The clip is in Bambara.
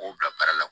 K'o bila baara la